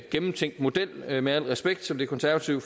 gennemtænkt model med al respekt som det konservative